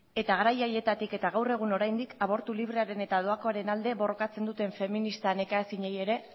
eta garai haietatik eta gaur egun oraindik abortu librearen eta doakoaren alde borrokatzen duten feminista nekaezinei ere